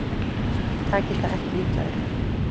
Takið það ekki illa upp.